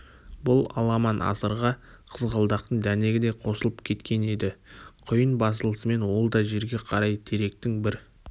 бұл аламан-асырға қызғалдақтың дәнегі де қосылып кеткен еді құйын басылысымен ол да жерге қарай теректің бір